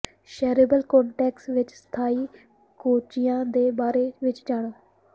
cerebral cortex ਵਿੱਚ ਸਥਾਈ ਗੋਚੀਆਂ ਦੇ ਬਾਰੇ ਵਿੱਚ ਜਾਣੋ